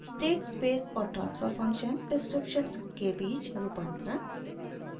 * state space और transfer function descriptions के बीच रूपांतरण